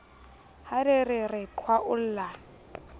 ha re re re qhwaolla